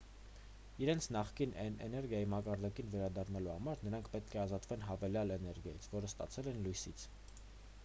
իրենց նախկին էներգիայի մակարդակին վերադառնալու համար նրանք պետք է ազատվեն հավելյալ էներգիայից որը ստացել են լույսից